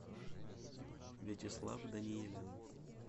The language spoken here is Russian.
вячеслав даниилин